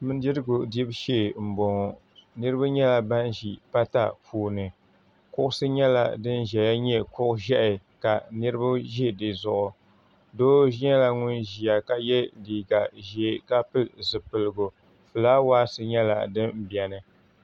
Bindirigu dibu shee m boŋɔ niriba nyɛla ban ʒi pata puuni kuɣusi nyɛla din ʒɛya nyɛ kuɣu ʒehi ka niriba ʒi di zuɣu doo nyɛla ŋun ʒia ka ye liiga ʒee ka pili zipiligu filaawaasi nyɛla din biɛni.